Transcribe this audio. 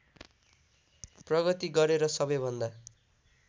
प्रगति गरे र सबैभन्दा